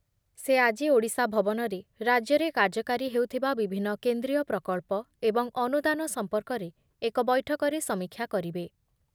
ସେ ଆଜି ଓଡ଼ିଶା ଭବନରେ ରାଜ୍ୟରେ କାର୍ଯ୍ୟକାରୀ ହେଉଥିବା ବିଭିନ୍ନ କେନ୍ଦ୍ରୀୟ ପ୍ରକଳ୍ପ ଏବଂ ଅନୁଦାନ ସମ୍ପର୍କରେ ଏକ ବୈଠକରେ ସମୀକ୍ଷା କରିବେ ।